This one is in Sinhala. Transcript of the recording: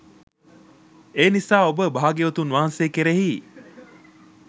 එනිසා ඔබ භාග්‍යවතුන් වහන්සේ කෙරෙහි